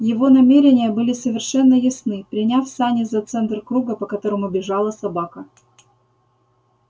его намерения были совершенно ясны приняв сани за центр круга по которому бежала собака